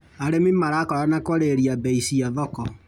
Arĩmi marakorana kwarĩrĩria mbei cia thoko.